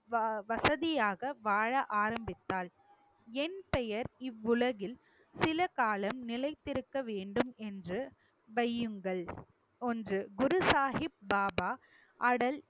வசதியாக வாழ ஆரம்பித்தாள் என் பெயர் இவ்வுலகில் சில காலம் நிலைத்திருக்க வேண்டும் என்று வையுங்கள் ஒன்று குரு சாஹிப் பாபா அடல்